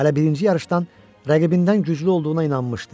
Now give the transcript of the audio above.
Hələ birinci yarışdan rəqibindən güclü olduğuna inanmışdı.